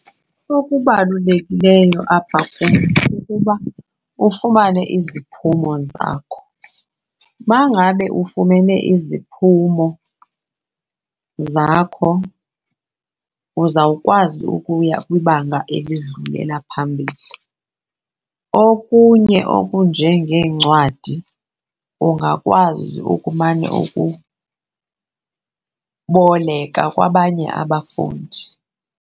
Okubalulekileyo apha kum kukuba ufumane iziphumo zakho. Uba ngabe ufumene iziphumo zakho uzawukwazi ukuya kwibanga elidlulela phambili. Okunye okunjengeencwadi ungakwazi ukumane ukuboleka kwabanye abafundi.